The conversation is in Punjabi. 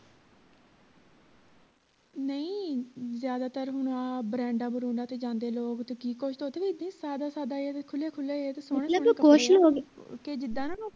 ਨਹੀਂ ਜਿਆਦਾਤਰ ਹੁਣ ਆਹ ਬਰੈਂਡਾ ਬਰੂੰਡਾ ਤੇ ਜਾਂਦੇ ਲੋਕ ਤੇ ਕਿ ਕੁਛ ਓਥੇ ਵੀ ਇੱਦਾਂ ਸਾਦਾ ਸਾਦਾ ਜਿਹਾ ਤੇ ਖੁਲਿਆ ਖੁਲਿਆ ਜਿਹਾ ਕੇ ਜਿੱਦਾਂ ਨਾ